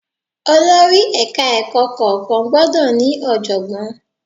Olórí Ẹ̀ka ẹ̀kọ́ kọ̀ọ̀kan gbọ́dọ̀ ní ọ̀jọ̀gbọ́n.